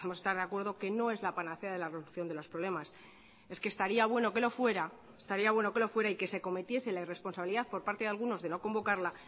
podemos estar de acuerdo que no es la panacea de la reducción de los problemas es que estaría bueno que lo fuera y que se cometiese la irresponsabilidad por parte de algunos de no convocarla